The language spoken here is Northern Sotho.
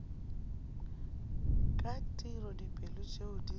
ka tiro dipoelo tšeo di